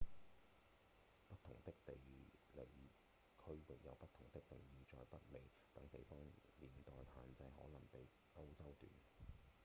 不同的地理區域有不同的定義在北美等地方年代限制可能比歐洲短